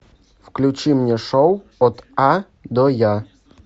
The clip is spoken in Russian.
включи мне шоу от а до я